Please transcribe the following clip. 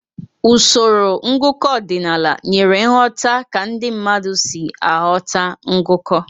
Usoro ngụkọ ọdịnala nyere nghọta ka ndị mmadụ si aghọta ngụkọ.